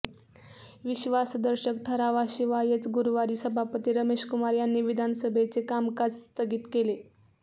विश्वासदर्शक ठरावाशिवायच गुरुवारी सभापती रमेश कुमार यांनी विधानसभेचे कामकाज स्थगित केले